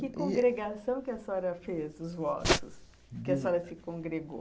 Que congregação que a senhora fez, os vossos, que a senhora se congregou?